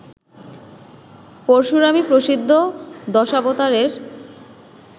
পরশুরামই প্রসিদ্ধ দশাবতারের